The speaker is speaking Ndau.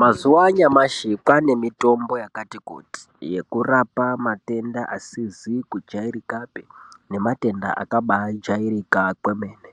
Mazuwa anyamashi kwane mitombo yakati kuti yekurapa matenda asizi kujairikapi nematenda akabajairika kwemene.